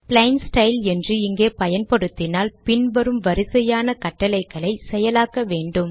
plain style என்று இங்கே பயன்படுத்தினால் பின் வரும் வரிசையான கட்டளைகளை செயலாக்க வேன்டும்